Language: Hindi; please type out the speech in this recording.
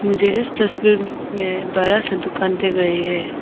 मुझे इस तस्वीर में बड़ासा दुकान दिख रही है।